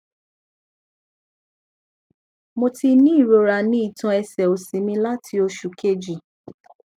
mo ti ní irora ni itan ẹsẹ osi mi lati osu keji